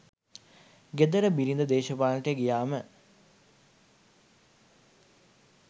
ගෙදර බිරිඳ දේශපාලනයට ගියාම